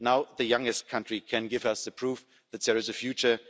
Now the youngest country can give us the proof that there is a future.